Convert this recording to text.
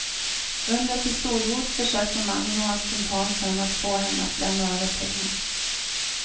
Under pistolhot försökte mannen och hans kumpan sen att få henne att lämna över pengar.